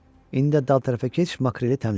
İndi dal tərəfə keç makreli təmizlə.